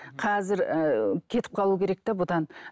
қазір ыыы кетіп қалу керек те бұдан